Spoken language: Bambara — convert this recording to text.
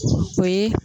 O ye